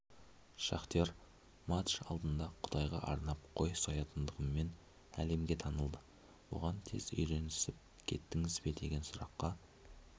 шахтер матч алдында құдайға арнап қой соятындығымен әлемге танылды бұған тез үйренісіп кеттіңіз бе деген сұраққа